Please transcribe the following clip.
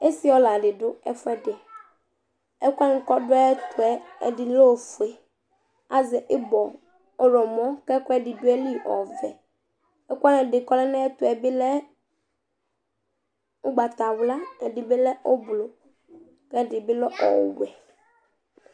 Ési ɔla ɖɩ ɔɖʊ ɛfʊɛɖi Ɛkuwanɩ ƙɔɖʊ aƴɛtʊ, ɛɖɩ ɔlɛ oƒoé Azɛ ɩbɔ ɔwlɔmɔ , ƙɛƙʊɛɖɩ ɖʊ aƴɩlɩ ɔʋɛ Ɛƙʊwani ɓɩ ƙɔle ŋaƴɛtʊbɩ lɛ ʊgbatawla, ƙɛɖɩɓɩ lɛ ʊɓlʊ, ƙɛɖɩɓɩ lɛ ɔwɛ